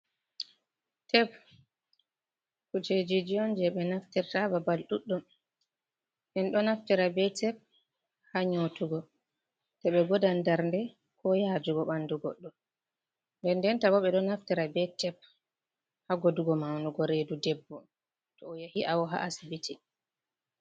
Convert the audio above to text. Tep kujejiji on je ɓe naftirta babal ɗuɗɗum. Min ɗo naftira be tep ha nyotugo to ɓe godan darnde ko yajugo ɓandu goɗɗo. Nden denta bo ɓe ɗo naftira be tep ha godugo maunugo redu debbo to o yahi awo ha Asibiti.